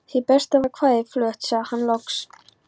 Hið besta var kvæðið flutt, sagði hann loks.